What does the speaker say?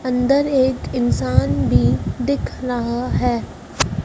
अंदर एक इंसान भी दिख रहा है।